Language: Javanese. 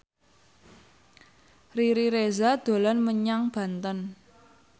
Riri Reza dolan menyang Banten